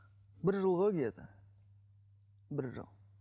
бір жыл ғой где то бір жыл